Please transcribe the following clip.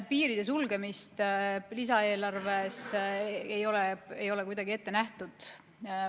Piiride sulgemist lisaeelarves ei ole kuidagi ette nähtud.